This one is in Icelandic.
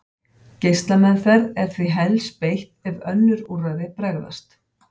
Geislameðferð er því helst beitt ef önnur úrræði bregðast.